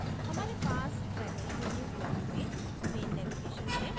हमारे पास primary menu block में main navigation है